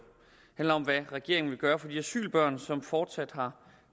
handler om hvad regeringen vil gøre for de asylbørn som fortsat har